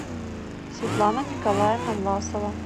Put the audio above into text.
светлана николаевна власова